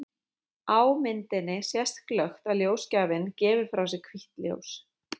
Á myndinni sést glöggt að ljósgjafinn gefur frá sér hvítt ljós.